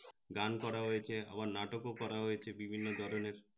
গান করা হয়েছে নাটকও করা হয়েছে বিভিন্ন ধরনের